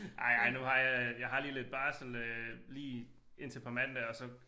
Ej ej nu har jeg jeg har lige lidt barsel øh lige indtil på mandag og så